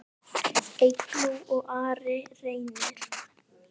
Eygló og Ari Reynir.